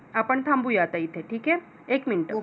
आपण थांबूया आता इथे ठीक आहे. एक minute